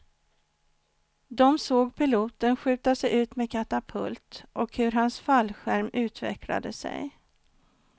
De såg piloten skjuta sig ut med katapult och hur hans fallskärm utvecklade sig.